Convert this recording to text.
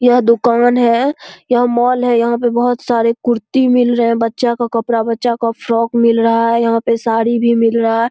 यह दुकान है यह मॉल है यहां पे बहुत सारे कुर्ती मिल रहे है बच्चे का कपड़ा भी बच्चा का फ्रॉक मिल रहा है यहां पे साड़ी भी मिल रहा है।